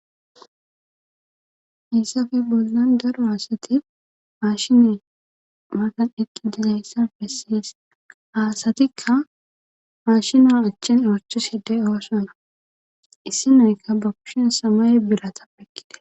Hayssafe bollan daro haasati maashine matan eqqi dizayssa besses ha asatikka maashina achen ochishe de7oosona issi nayka ba kushin samay birata ekkide.